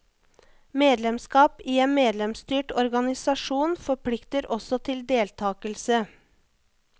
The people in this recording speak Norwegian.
Medlemsskap i en medlemsstyrt organisasjon forplikter også til deltakelse.